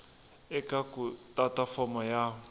eka ku tata fomo ya